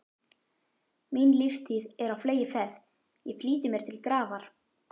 Mín lífstíð er á fleygiferð, ég flýti mér til grafar.